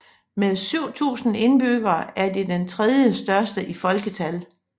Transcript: Med 7000 indbyggere er det den tredje største i folketal